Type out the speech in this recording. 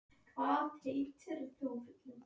Valur, ég kom með fimmtíu og átta húfur!